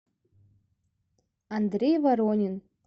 андрей воронин